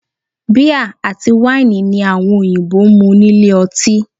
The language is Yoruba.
Bíà àti wáìnì ni àwọn òyìnbó mu nílé ọtí